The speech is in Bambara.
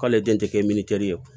K'ale den tɛ kɛ ye